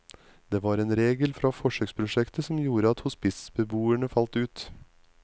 Det var en regel fra forsøkprosjektet som gjorde at hospitsbeboere falt ut.